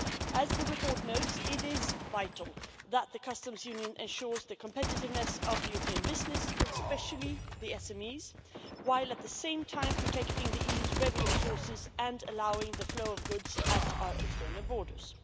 As the report notes, it is vital that the Customs Union ensures the competitiveness of European business, especially the SMEs, while at the same time protecting the EU's revenue sources and allowing the flow of goods at our external borders.